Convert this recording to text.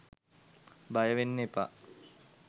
බයවෙන්න එපා.